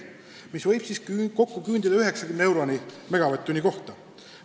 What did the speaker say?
Kokku võib see küündida 90 euroni megavatt-tunni kohta.